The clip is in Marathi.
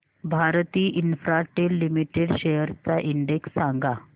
भारती इन्फ्राटेल लिमिटेड शेअर्स चा इंडेक्स सांगा